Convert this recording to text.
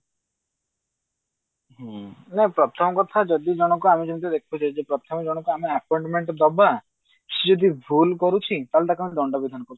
ହୁଁ ପ୍ରଥମ କଥା ଯଦି ଜଣଙ୍କୁ ଆମେ ଯେମତି ଦେଖୁଛେ ଯେ ପ୍ରଥମେ ଜଣଙ୍କୁ ଆମେ appointment ଦବା ସେଇ ଯଦି ଭୁଲ କରୁଛି ତାହେଲେ ତାକୁ ଆମେ ଦଣ୍ଡ ବିଧାନ କରୁଛେ